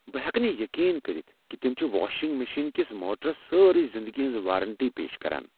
بہٕ ہیٚکہٕ نہٕ یقین کٔرتھ کہِ تم چھِ واشِنگ مشین کس موٹرس ساری زندگی ہنز وارنٹی پیش کران۔